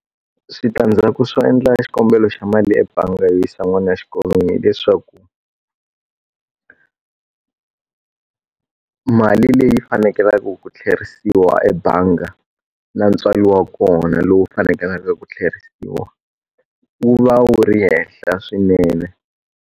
Switandzhaku swo endla xikombelo xa mali ebangi yo yisa n'wana wa xikolo hileswaku mali leyi fanekelaka ku tlherisiwa ebangi na ntswalo wa kona lowu faneleke ku tlherisiwa wu va wu ri henhla swinene.